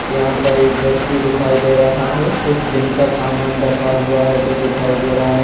यह पर एक व्यक्ति दिखाई दे रहा है कुछ जिम का समान रखा हुआ है जो दिखाई दे रहा है।